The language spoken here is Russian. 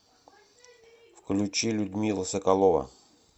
включи людмила соколова